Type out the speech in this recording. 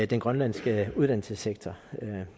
den grønlandske uddannelsessektor